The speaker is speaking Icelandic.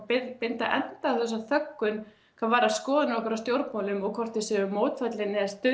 binda binda enda á þessa þöggun hvað varðar skoðanir okkar á stjórnmálum og hvort þau séu mótfallin eða